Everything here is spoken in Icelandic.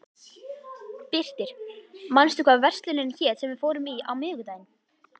Birtir, manstu hvað verslunin hét sem við fórum í á miðvikudaginn?